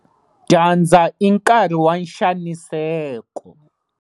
Dyandza i nkarhi wa nxaniseko.